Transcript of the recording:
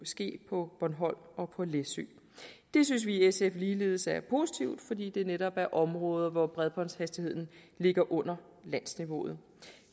ske på bornholm og på læsø det synes vi i sf ligeledes er positivt fordi det netop er områder hvor bredbåndshastigheden ligger under landsniveauet